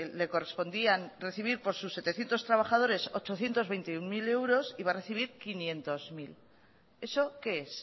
le correspondía recibir por sus setecientos trabajadores ochocientos veintiuno mil euros y va a recibir quinientos mil eso que es